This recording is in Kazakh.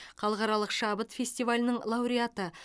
халықаралық шабыт фестивалінің лауреаты